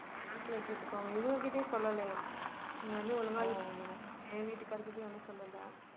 bank ல கேட்டுக்கோங்க இவங்க கிட்டயும் சொல்லலயாம் நீங்க வந்து ஒழுங்கா என் வீட்டுக்காரர் கிட்டயும் ஒண்ணும் சொல்லலை